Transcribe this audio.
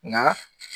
Nka